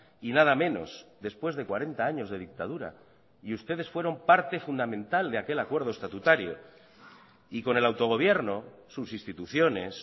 y nada menos después de cuarenta años de dictadura y ustedes fueron parte fundamental de aquel acuerdo estatutario y con el autogobierno sus instituciones